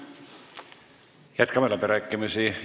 Jätkame läbirääkimisi.